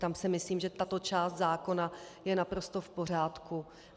Tam si myslím, že tato část zákona je naprosto v pořádku.